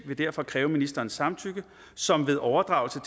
vil derfor kræve ministerens samtykke som ved overdragelse